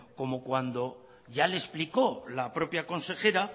como cuando ya le explicó la propia consejera